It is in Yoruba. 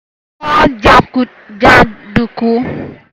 ja jàǹdùkú